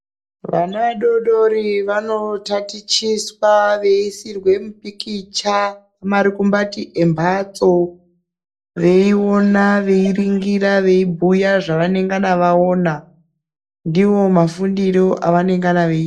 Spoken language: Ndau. Vana vadoodori vanotatichiswa veiisirwe mipikicha kurukumbati rwemhatso veionaa, veiringira veibhuya zvavanonga vaona ndiwo mafundiro avanongana vaeiita.